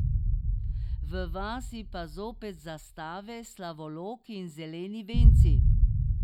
V vasi pa zopet zastave, slavoloki in zeleni venci.